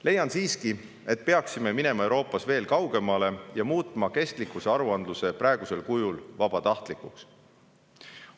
Leian siiski, et peaksime minema Euroopas veel kaugemale ja muutma kestlikkusaruandluse praegusel kujul vabatahtlikuks.